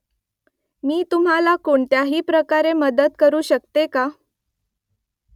मी तुम्हाला कोणत्याही प्रकारे मदत करू शकते का ?